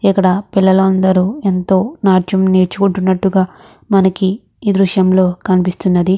ఇక్కడ పిల్లలు అందరు ఎంతో నాట్యం నేర్చుకుంటున్నట్టుగా మనకి ఈ దృశ్యంలో కనిపిస్తున్నది.